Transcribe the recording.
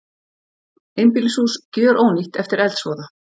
Einbýlishús gjörónýtt eftir eldsvoða